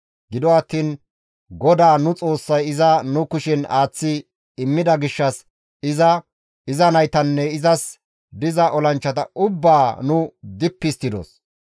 Gido attiin GODAA nu Xoossay iza nu kushen aaththi immida gishshas iza, iza naytanne izas diza olanchchata ubbaa nu dippi histtidos.